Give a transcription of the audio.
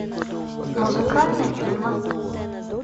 музыкальные фильмы